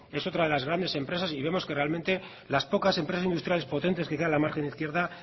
que es otra de las grandes empresas y vemos que realmente las pocas empresas industriales potentes que quedan en la margen izquierda